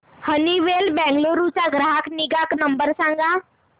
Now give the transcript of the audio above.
Honeywell Bengaluru चा ग्राहक निगा नंबर सांगा